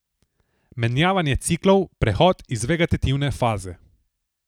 Menjavanje ciklov, prehod iz vegetativne faze.